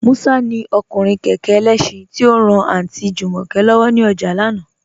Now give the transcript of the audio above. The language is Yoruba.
Musa ni ọkùnrin kẹkẹ ẹlẹ́ṣin, ti o ran Aunty Jumoke lọ́wọ ni ọjà lánà.